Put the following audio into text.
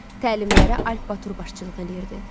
Təlimlərə Alp Batur başçılıq eləyirdi.